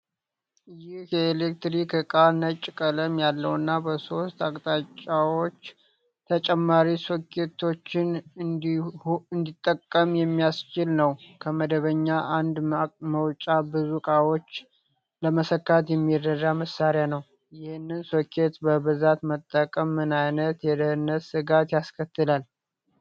ይህ የኤሌክትሪክ ዕቃ፣ ነጭ ቀለም ያለውና በሶስት አቅጣጫዎች ተጨማሪ ሶኬቶችን እንዲጠቀም የሚያስችል ነው። ከመደበኛ አንድ መውጫ ብዙ ዕቃዎች ለመሰካት የሚረዳ መሣሪያ ነው። ይህንን ሶኬት በብዛት መጠቀም ምን ዓይነት የደህንነት ስጋት ያስከትላል?